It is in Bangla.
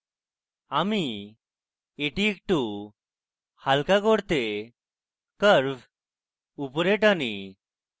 আমি এটি একটু হালকা করতে curve উপরে টানি